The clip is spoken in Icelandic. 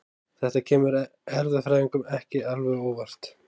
Þetta kemur erfðafræðingum ekki alveg á óvart.